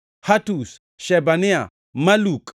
Hatush, Shebania, Maluk,